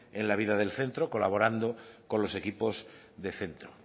en la vida del centro colaborando con los equipos de centro